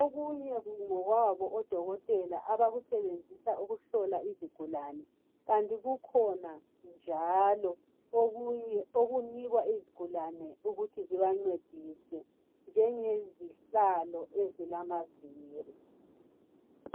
okunye ngokwabo odokotela abakusebenzisa ukuhlola izigulane kanti kukhona njalo okunikwa izigulane ukuba kuba ncedise njenge zihlalo ezilamaviri